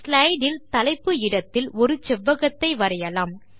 slide இல் தலைப்பு இடத்தில் ஒரு செவ்வகத்தை வரையலாம்